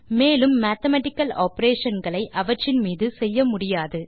மேலும் mathematical operation களை அவற்றின் மீது செய்ய முடியாது